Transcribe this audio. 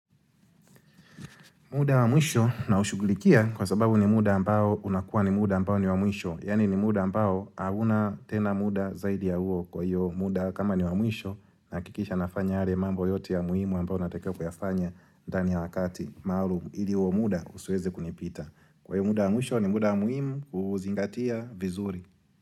Muda wa mwisho na ushugulikia kwa sababu ni muda ambao unakuwa ni muda ambao ni wa mwisho. Yani ni muda ambao auna tena muda zaidi ya uo kwa hiyo muda kama ni wa mwisho naakikisha nafanya yale mambo yote ya muhimu ambao natakiwa kuyafanya ndani ya wakati maalum ili huo muda usiweze kunipita. Kwa hiyo muda wa mwisho ni muda wa mwisho kuzingatia vizuri.